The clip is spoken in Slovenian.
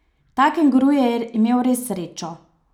Ta kenguru je imel res srečo.